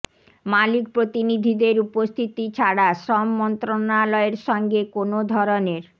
মালিক প্রতিনিধিদের উপস্থিতি ছাড়া শ্রম মন্ত্রণালয়ের সঙ্গে কোনো ধরনের